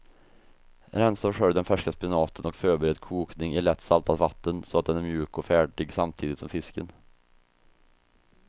Rensa och skölj den färska spenaten och förbered kokning i lätt saltat vatten så att den är mjuk och färdig samtidigt som fisken.